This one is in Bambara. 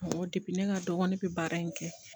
Awɔ ne ka dɔgɔn ne bɛ baara in kɛ